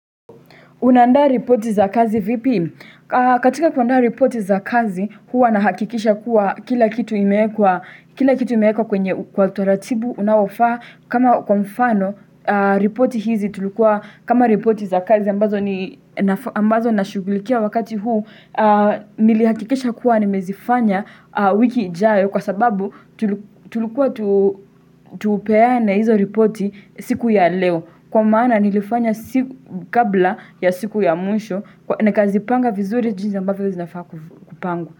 Unaandaa ripoti za kazi vipi? Katika kuandaa ripoti za kazi, huwa nahakikisha kuwa kila kitu imeekwa kwenye kwa utaratibu unaofaa. Kama kwa mfano, ripoti hizi tulikua, kama ripoti za kazi ambazo na shughulikia wakati huu, nilihakikisha kuwa nimezifanya wiki ijayo kwa sababu tulikua tupeane hizo ripoti siku ya leo. Kwa maana nilifanya siku kabla ya siku ya mwisho Nikazipanga vizuri jinsi ambavyo zinafaa kupangwa.